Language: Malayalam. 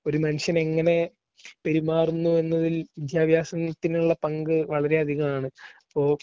ഒരു മനുഷ്യനെങ്ങനെ പെരുമാറുന്നു എന്നതിൽ വിദ്യാഭ്യാസത്തിനുള്ള പങ്ക് വളരെ അധികാണ്. അപ്പോ